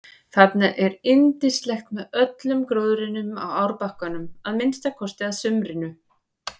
Þarna er yndislegt með öllum gróðrinum á árbakkanum að minnsta kosti að sumrinu.